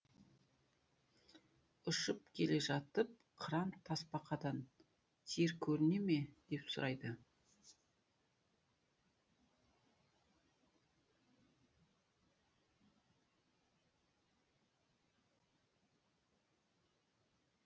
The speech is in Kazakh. ұшып келе жатып қыран тасбақадан жер көріне ме деп сұрайды